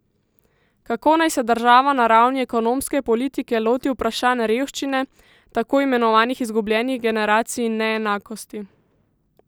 Kako naj se država na ravni ekonomske politike loti vprašanj revščine, tako imenovanih izgubljenih generacij in neenakosti?